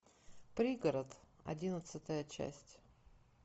пригород одиннадцатая часть